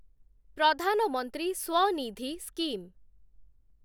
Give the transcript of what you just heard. Pradhan Mantri Svanidhi scheme